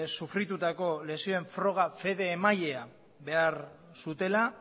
sufritutako lesioen froga fede emailea behar zutela